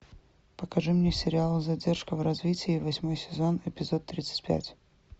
покажи мне сериал задержка в развитии восьмой сезон эпизод тридцать пять